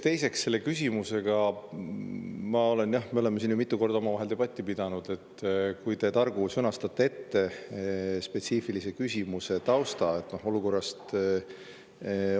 Teiseks, sel teemal me oleme siin ju mitu korda omavahel debatti pidanud, et kui te targu sõnastaksite spetsiifilise küsimuse tausta.